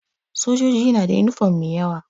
Sojoji nada yunifom mai yawa